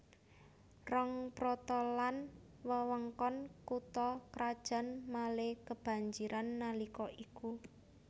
Rongprotelon wewengkon kutha krajan Malé kebanjiran nalika iku